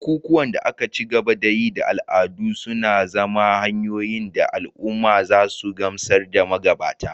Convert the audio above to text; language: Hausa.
Bukukuwan da ake ci gaba da yi da al'adu suna zama hanyoyin da al'umma za su gamsar da magabata